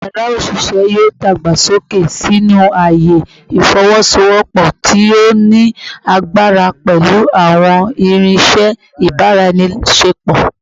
Yara oṣiṣẹ yoo dagbasoke sinu aaye ifowosowopo ti o ni agbara pẹlu awọn irinṣẹ ibaraenisepo